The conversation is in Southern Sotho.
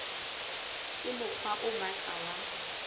ke mokgwa o matla wa